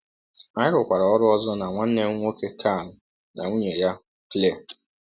Anyị rụkwara ọrụ ọzọ na nwanne m nwoke Carl na nwunye ya, Claire.